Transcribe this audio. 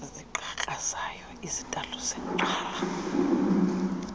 zigqakrazayo izitalato zagcwala